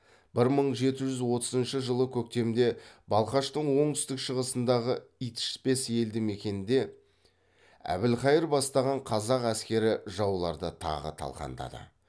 бір мың жеті жүз отызыншы жылы көктемде балқаштың оңтүстік шығысындағы итішпес елді мекенінде әбілқайыр бастаған қазақ әскері жауларды тағы талқандады